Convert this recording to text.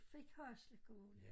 Fik Hasle kommune